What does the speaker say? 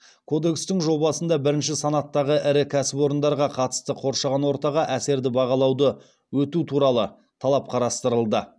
кодекстің жобасында бірінші санаттағы ірі кәсіпорындарға қатысты қоршаған ортаға әсерді бағалауды өту туралы талап қарастырылды